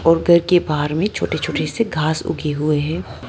और घर के बाहर मे छोटे छोटे से घास उगे हुऐ है।